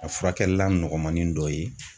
A furakɛlilan nɔgɔmanin dɔ ye